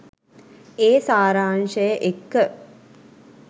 ඒ සාරාංශය එක්ක